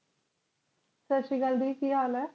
ਸਾਸ੍ਰੀਕੈੱਲ ਜੀ ਕੇ ਹੇਲ ਆਯ